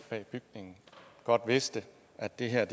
godt vidste at det her